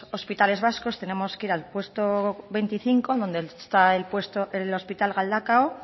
hospitales vascos tenemos que ir al puesto veinticinco donde está el hospital galdakao